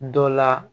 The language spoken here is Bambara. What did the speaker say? Dɔ la